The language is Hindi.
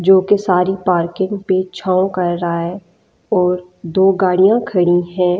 जो कि सारी पार्किंग पे छांव कर रहा है और दो गाड़ियां खड़ी हैं।